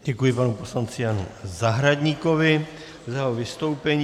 Děkuji panu poslanci Janu Zahradníkovi za jeho vystoupení.